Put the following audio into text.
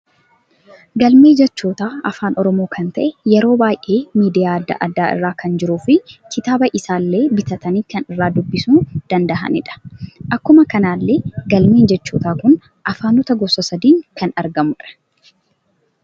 Galmee jechoota afaan oromoo kan ta'e yeroo baay'ee miidiyaa adda, addaa irra kan jiruu fi kitaaba isaallee bitaatani kan irra dubbisu danda'anidha. Akkuma kanallee galmeen jechoota kun afaanoota gosa sadiin kan argamudha.